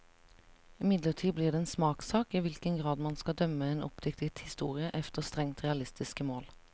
Imidlertid blir det en smakssak i hvilken grad man skal dømme en oppdiktet historie efter strengt realistiske mål.